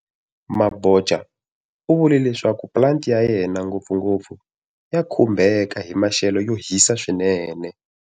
Mabotja u vule leswaku pulanti ya yena, ngopfungopfu, ya khumbeka hi maxelo yo hisa swinene.